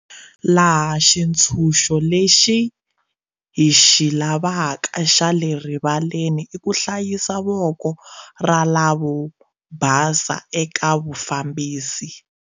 Laha xi tshunxo lexi hi xi lavaka xa le rivaleni i ku hlayisa voko ra lavobasa eka vufambisi.